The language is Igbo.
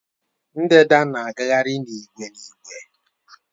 Ndanda na-agagharị n'ìgwè n'ìgwè